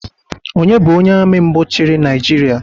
Onye bụ onye Ami mbụ chiri naijiria?